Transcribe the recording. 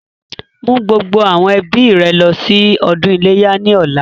Mú gbogbo àwọn ẹbí rẹ lọ sí ọdún iléyá ni ọ̀la!